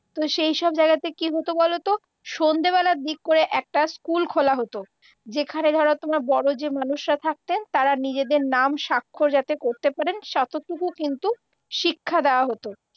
তো সেই সব জায়গাতে কি হত বলতো, সন্ধ্যেবেলা দিক করে একটা স্কুল খোলা হত যেখানে ধরো তোমার বড় যে মানুষরা থাকতেন তারা নিজেদের নাম স্বাক্ষর যাতে করতে পারেন ততটুকু কিন্তু শিক্ষা দেওয়া হত।